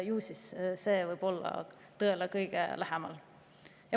Ju siis see võib olla tõele kõige lähemal.